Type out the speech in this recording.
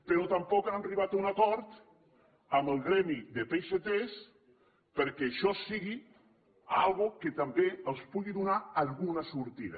però tampoc han arribat a un acord amb el gremi de peixaters perquè això sigui una cosa que també els pugui donar alguna sortida